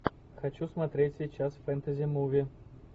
хочу смотреть сейчас фэнтези муви